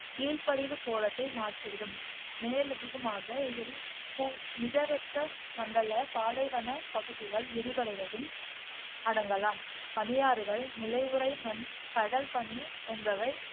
வீழ்படிவு கோலத்தை மாற்றிவிடும், மேலதிகமாக இதில் பு மிதவெப்ப மண்டல பாலைவனப் பகுதிகள் விரிவடைவதும் அடங்கலாம். பனியாறுகள், நிலை உறை மண், கடல் பனி என்பவை